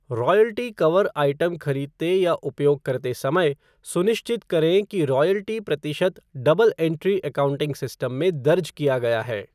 Royalty cover item खरीदते या उपयोग करते समय, सुनिश्चित करें कि रॉयल्टी प्रतिशत डबल एंट्री एकाउंटिंग सिस्टम में दर्ज किया गया है।